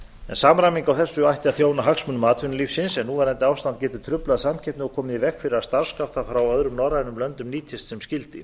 samræming á þessu ætti að þjóna hagsmunum atvinnulífsins en núverandi ástand getur truflað samkeppni og komið í veg fyrir að starfskraftar frá öðrum norrænum löndum nýtist sem skyldi